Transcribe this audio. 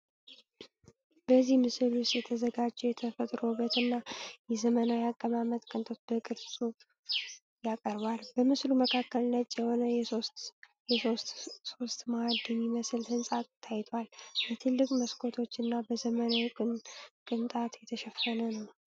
በዚህ ምስል ውስጥ የተዘጋጀው የተፈጥሮ ውበት እና የዘመናዊ አቀማመጥ ቅንጣት በቅርጽ ያቀርባል። በምስሉ መካከል ነጭ የሆነ የሶስት ሶስት ማዕድ የሚመስል ሕንፃ ታይቷል፣ በትልቅ መስኮቶች እና በዘመናዊ ቅንጣት የተሸፈነ ነው።